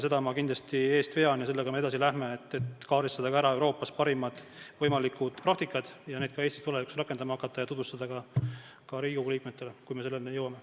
Seda ma kindlasti eest vean ja sellega me edasi läheme, et kaardistada ära Euroopa parimad võimalikud praktikad ja neid Eestis tulevikus rakendama hakata ning tutvustada ka Riigikogu liikmetele, kui me selleni jõuame.